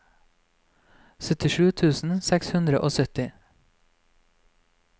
syttisju tusen seks hundre og sytti